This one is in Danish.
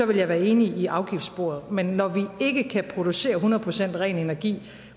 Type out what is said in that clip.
ville jeg være enig i afgiftssporet men når vi ikke kan producere hundrede procent ren energi